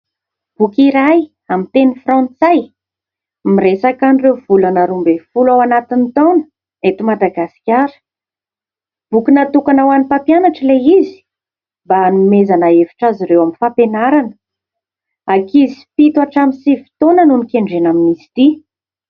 Boky iray amin'ny teny frantsay miresaka an'ireo volana roa ambin'ny folo ao anatin'ny taona eto Madagasikara. Boky natokana ho any mpampianatra ilay izy mba hanomezana hevitra azy ireo amin'ny fampianarana ; ankizy fito hatramin'ny sivy taona no nikendrena amin'izy ity.